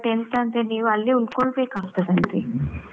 ಎಂತ ಅಂದ್ರೆ ನೀವು ಅಲ್ಲೆ ಉಳ್ಕೊಳ್ಬೇಕಾಗ್ತದಂತೆ.